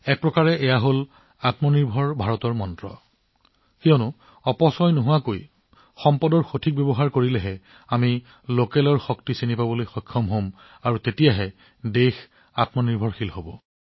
এক প্ৰকাৰে ই এক স্বাৱলম্বী ভাৰতৰ মন্ত্ৰ কিয়নো যেতিয়া আমি আমাৰ সম্পদবোৰ সঠিকভাৱে ব্যৱহাৰ কৰো আমি সেইবোৰ অপচয় হবলৈ নিদিও যেতিয়া আমি স্থানীয় লোকৰ শক্তিক স্বীকৃতি দিম তেতিয়াহে দেশখন স্বাৱলম্বী হব